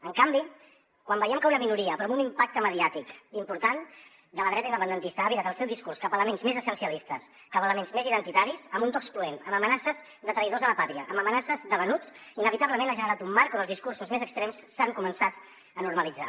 en canvi quan veiem que una minoria però amb un impacte mediàtic important de la dreta independentista ha virat el seu discurs cap a elements més essencialistes cap a elements més identitaris amb un to excloent amb amenaces de traïdors a la pàtria amb amenaces de venuts inevitablement ha generat un marc on els discursos més extrems s’han començat a normalitzar